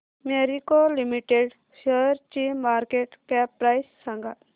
Marico Limited शेअरची market cap price सांगा